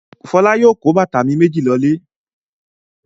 Fọlá yóò kó bàtà mi méjì lọlé.